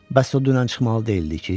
Bəs o dünən çıxmalı deyildi ki?